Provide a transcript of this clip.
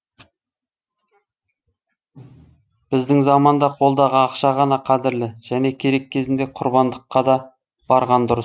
біздің заманда қолдағы ақша ғана қадірлі және керек кезінде құрбандыққа да барған дұрыс